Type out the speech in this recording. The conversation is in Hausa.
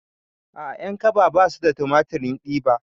A'a ƴankaba basu da tumatirin diba